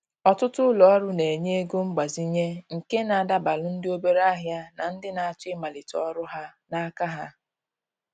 Ọtụtụ ulo ọrụ na-enye ego mgbazinye nke na adabalu ndị obere ahịa na ndị na-achọ ịmalite ọrụ ha n’aka ha.